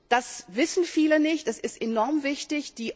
Das wissen viele nicht, es ist aber enorm wichtig.